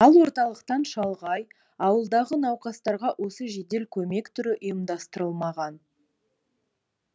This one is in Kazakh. ал орталықтан шалғай ауылдағы науқастарға осы жедел көмек түрі ұйымдастырылмаған